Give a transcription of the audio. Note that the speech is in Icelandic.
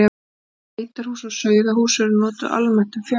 Bæði beitarhús og sauðahús eru notuð almennt um fjárhús.